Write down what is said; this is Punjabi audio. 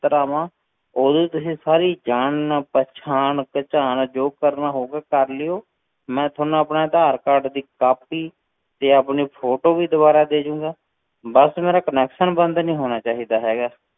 ਦਫ਼ਤਰ ਆਵਾਂ, ਉਦੋਂ ਤੁਸੀਂ ਸਾਰੀ ਜਾਣ ਨਾ ਪਹਿਚਾਣ ਭਚਾਣ ਜੋ ਵੀ ਕਰਨਾ ਹੋਵੇ ਕਰ ਲਇਓ, ਮੈਂ ਤੁਹਾਨੂੰ ਆਪਣੇ ਆਧਾਰ ਕਾਰਡ ਦੀ copy ਤੇ ਆਪਣੀ photo ਵੀ ਦੁਬਾਰਾ ਦੇ ਜਾਵਾਂਗਾ, ਬਸ ਮੇਰਾ connection ਨੀ ਬੰਦ ਹੋਣਾ ਚਾਹੀਦਾ ਹੈਗਾ,